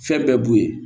Fɛn bɛɛ b'u ye